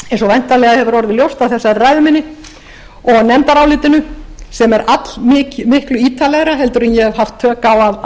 væntanlega hefur orðið ljóst af þessari ræðu minni og nefndarálitinu sem er allmiklu ítarlegra heldur en ég hef haft tök á